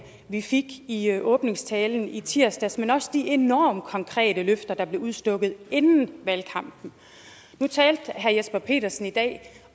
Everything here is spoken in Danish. vi fik i åbningstalen i tirsdags men også de enormt konkrete løfter der blev udstukket inden valgkampen nu talte herre jesper petersen i dag